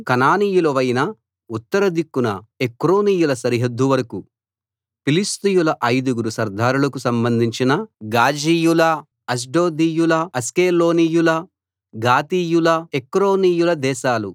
కనానీయులవైన ఉత్తర దిక్కున ఎక్రోనీయుల సరిహద్దు వరకూ ఫిలిష్తీయుల ఐదుగురు సర్దారులకు సంబంధించిన గాజీయుల అష్డోదీయుల అష్కెలోనీయుల గాతీయుల ఎక్రోనీయుల దేశాలూ